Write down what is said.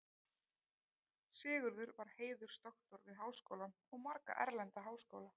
Sigurður var heiðursdoktor við Háskólann og marga erlenda háskóla.